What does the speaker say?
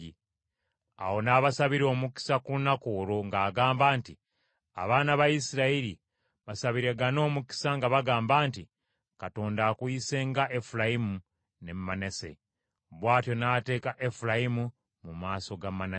Awo n’abasabira omukisa ku lunaku olwo ng’agamba nti, “Abaana ba Isirayiri basabiragane omukisa nga bagamba nti, ‘Katonda akuyise nga Efulayimu ne Manase.’ ” Bw’atyo n’ateeka Efulayimu mu maaso ga Manase.